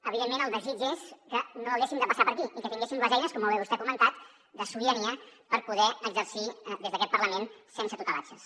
evidentment el desig és que no haguéssim de passar per aquí i que tinguéssim les eines com molt bé vostè ha comentat de sobirania per poder exercir des d’aquest parlament sense tutelatges